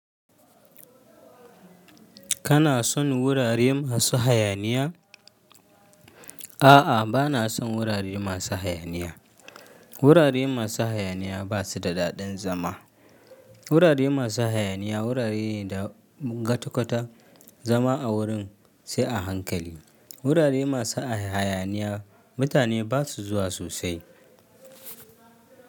Kana son wurare masu hayaniya? A'a, ba na son wurare masu hayaniya. Wurare masu hayaniya ba su da daɗin zama. Wurare masu hayaniya wurare ne da gatu kwata zama a wurin sai a hankali. Wurare masu hayaniya mutane ba su zuwa sosai.